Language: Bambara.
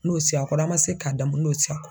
N'o sigi a kɔrɔ ,a ma se ka damun n'o sigi a kɔrɔ.